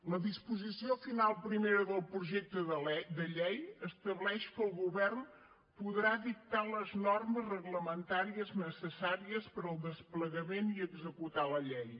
la disposició final primera del projecte de llei estableix que el govern podrà dictar les normes reglamentàries necessàries per al desplegament i executar la llei